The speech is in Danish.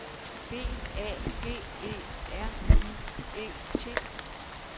B A G E R I E T